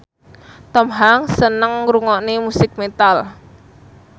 Tom Hanks seneng ngrungokne musik metal